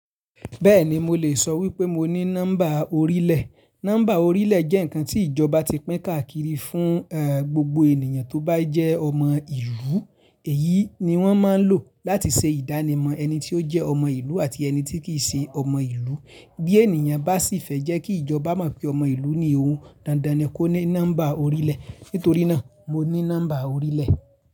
Bẹ́ẹ̀ni mo lè sọ wípé mo ní nọ́mbà orílẹ̀. Nọ́mbà orílẹ̀ jẹ́ nǹkan tí ìjọba ti pín káàkiri fún gbogbo ènìyàn tó bá jẹ́ ọmọ ìlú. Èyí ni wọ́n má ń lò láti ṣe ìdánimọ̀ ẹni tí ó jẹ́ ọmọ ìlú àti ẹni tí kì í ṣe ọmọ ìlú. Bí ènìyàn bá sì fẹ́ jẹ́ kí ìjọba mọ̀ pé ó jẹ́ ọmọ ìlú ní òun, dandan ni kó ní nọ́mbà orílẹ̀. Nítorí náà mo ní nọ́mbà orílẹ̀